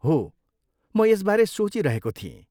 हो, म यसबारे सोचिरहेको थिएँ।